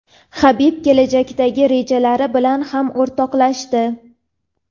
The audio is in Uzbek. Habib kelajakdagi rejalari bilan ham o‘rtoqlashdi.